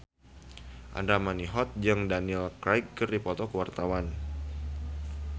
Andra Manihot jeung Daniel Craig keur dipoto ku wartawan